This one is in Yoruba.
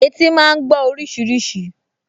Etí máa gbọ́ oríṣiríṣi